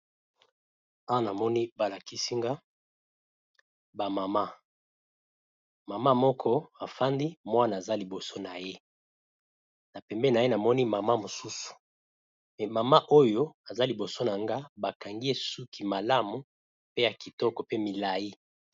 Awa namoni balakisinga ba mama mama moko afandi mwana aza liboso na ye na pembeni na ye namoni mama mosusu mama oyo aza liboso na nga bakangi ye suki malamu pe ya kitoko pe milayi.